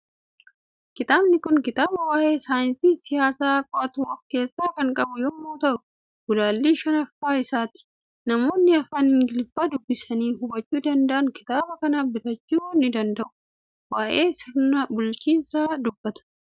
Kitaabni kun kitaaba waa'ee saayinsii siyaasaa qo'atu of keessaa kan qabu yommuu ta'u, gulaallii shanaffaa isaati. Namoonni afaan Ingiliffaa dubbisanii hubachuu danda'an kitaaba kana bitachuu ni danda'u. Waa'ee sirna bulchinsaa dubbata.